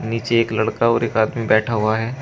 नीचे एक लड़का और एक आदमी बैठा हुआ है।